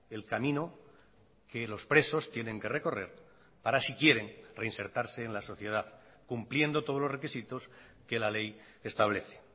el camino que los presos tienen que recorrer para si quieren reinsertarse en la sociedad cumpliendo todos los requisitos que la ley establece